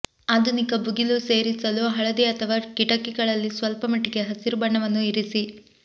ಆಧುನಿಕ ಭುಗಿಲು ಸೇರಿಸಲು ಹಳದಿ ಅಥವಾ ಕಿಟಕಿಗಳಲ್ಲಿ ಸ್ವಲ್ಪಮಟ್ಟಿಗೆ ಹಸಿರು ಬಣ್ಣವನ್ನು ಇರಿಸಿ